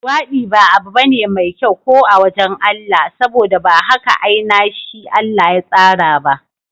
Luwaɗi ba abu bane mai kyau ko a wajan Allah, saboda ba haka ainashi Allah ya tsara ba